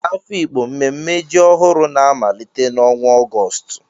N'Afikpo, mmemme ji ọhụrụ na-amalite n'ọnwa Ọgọst